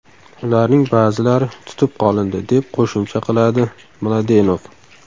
Ularning ba’zilari tutib qolindi”, deb qo‘shimcha qiladi Mladenov.